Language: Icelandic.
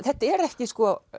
þetta er ekki